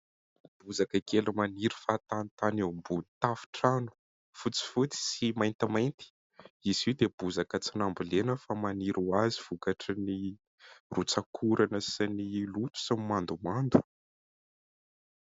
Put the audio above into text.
Bozaka kely maniry fahatanitany eo ambony tafotrano, fotsifotsy sy maintimainty. Izy io dia tsy bozaka nambolena fa maniry ho azy vokatry ny rotsakorana sy ny loto sy ny mandomando.